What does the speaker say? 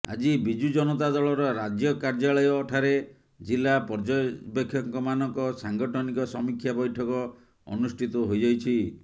ଆଜି ବିଜୁ ଜନତା ଦଳର ରାଜ୍ୟ କାର୍ଯ୍ୟାଳୟ ଠାରେ ଜିଲ୍ଲା ପର୍ଯ୍ୟବେକ୍ଷକମାନଙ୍କ ସାଂଗଠନିକ ସମୀକ୍ଷା ବୈଠକ ଅନୁଷ୍ଠିତ ହୋଇଯାଇଛି